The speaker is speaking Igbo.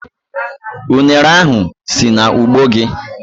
Ụnere ahu si n'ugbo gi?